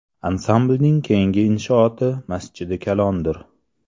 Ansamblning keyingi inshooti Masjidi Kalondir.